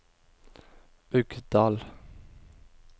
Uggdal